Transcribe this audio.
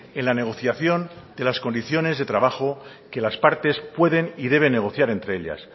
en la negociación de las condiciones de trabajo que las partes pueden y deben negociar entre ellas